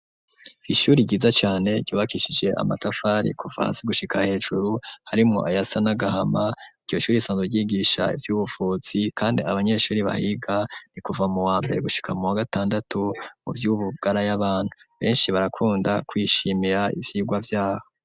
Ishuri ryiza cane ryubakishije amatafari kuva hasi gushika hejuru harimwo ayasa n'agahama iryo shuri risanzwe ryigisha ivyubuvuzi kandi abanyeshuri bahiga ni kuva mu wambere gushika mu wa gatandatu mu vy'ubugara y'abantu beshi barakunda kwishimira ivyirwa vyaho.